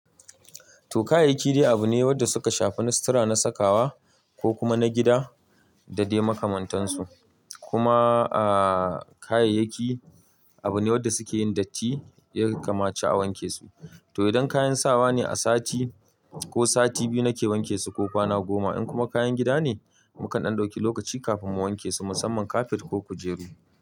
To kayayyaki dai abu ne wanda suka shafi na sutura, na sakawa ko kuma na gida da dai makamantansu. Kuma ahhh kayayyaki abu ne wanda suke yin datti, yaka mace a wanke su. To idan kayan sawa ne a sati ko sati biyu nake wanke su ko kwana goma. In kuma kayan gida ne, mu kan dan ɗauki lokaci kafin mu wanke su, musamman kafet ko kujeru.